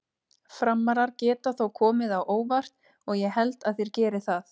Frammarar geta þó komið á óvart og ég held þeir geri það.